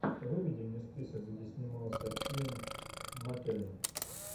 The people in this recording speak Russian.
выведи мне список где снимался иэн маккеллен